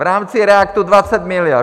V rámci REACTu 20 miliard.